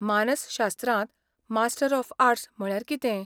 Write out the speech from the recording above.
मानसशास्त्रांत master of arts म्हळ्यार कितें?